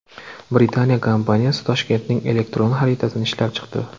Britaniya kompaniyasi Toshkentning elektron xaritasini ishlab chiqdi.